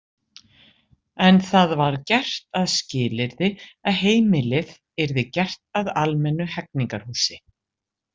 En það var gert að skilyrði að heimilið yrði gert að almennu hegningarhúsi.